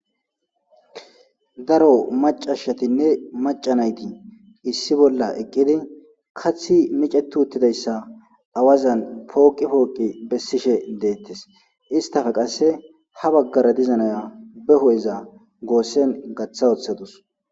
Daro macashshatinne macanayti issi bolla eqqidi kathi micetu uttidayssa awazan pooqi pooqi bessishe deettes istafe qasse ha baggara dizanaya beho7eza goossen gaththa woththadus.